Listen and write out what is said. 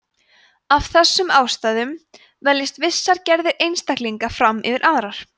af þessum ástæðum veljast vissar gerðir einstaklinga fram yfir aðrar